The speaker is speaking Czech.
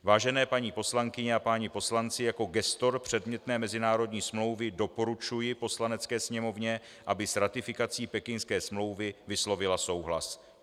Vážené paní poslankyně a páni poslanci, jako gestor předmětné mezinárodní smlouvy doporučuji Poslanecké sněmovně, aby s ratifikací Pekingské smlouvy vyslovila souhlas.